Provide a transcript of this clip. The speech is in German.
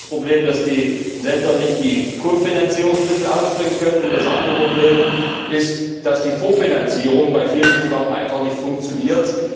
Das eine ist das Problem, dass die Länder die Kofinanzierungsmittel nicht aufbringen können, und das andere Problem ist, dass die Vorfinanzierung bei vielen Programmen einfach nicht funktioniert.